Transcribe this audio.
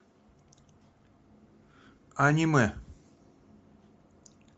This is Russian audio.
аниме